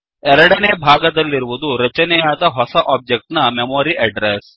ಎರಡನೇ ಭಾಗದಲ್ಲಿರುವುದು ರಚನೆಯಾದ ಹೊಸ ಒಬ್ಜೆಕ್ಟ್ ನ ಮೆಮೋರಿ ಅಡ್ರೆಸ್